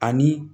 Ani